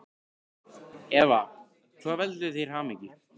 Eva: Hvað veldur þér hamingju?